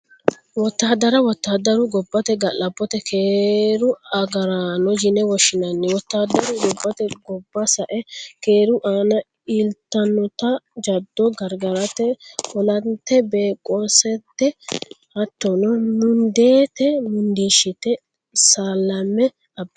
Wotaadarra, wotaadaru gobate gala'botenna keeru agarano yini woshinnani, wotaadaru gobateni goba sa'e keeru aana iilitanotta jado garigarite olantebqasante hattonno mundiite mundiishite salame abitanno